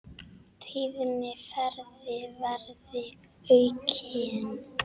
Tíðni ferða verði aukin.